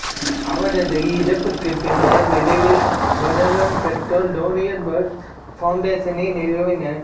அவரது இறப்புக்குப் பின்னர் விரைவில் பெர்லின் பெற்றோர் டேனியல் பெர்ல் ஃபவுண்டேசனை நிறுவினர்